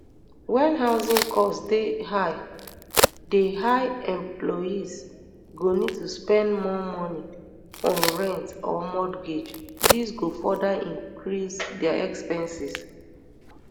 wen housing costs dey high dey high employees go need to spend more money on rent or mortgage dis go further increase dia expenses